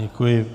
Děkuji.